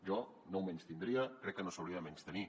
jo no ho menystindria crec que no s’hauria de menystenir